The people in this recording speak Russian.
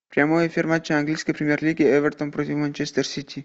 прямой эфир матча английской премьер лиги эвертон против манчестер сити